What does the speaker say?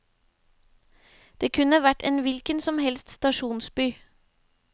Det kunne vært en hvilken som helst stasjonsby.